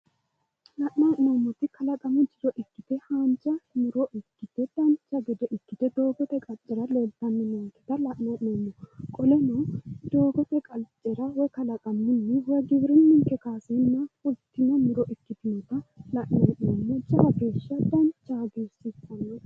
la'nanni hee'noommoti haanja muro ikkite dancha gede ikkite leeltanni noonketa la'nanni hee'noommo qoleno doogote qaccera kalaqamunni woyi giwirinnunninke kaaseenni fultino muro ikkitino la'nanni hee'noommo jawa geeshsha danchaho hagiirsiissannote.